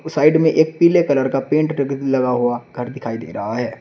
Side में एक पीले कलर का पेंट लगा हुआ घर दिखाई दे रहा है।